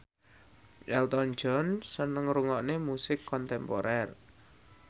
Elton John seneng ngrungokne musik kontemporer